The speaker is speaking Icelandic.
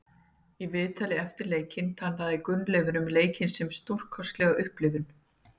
Í viðtali eftir leikinn talaði Gunnleifur um leikinn sem stórkostlega upplifun.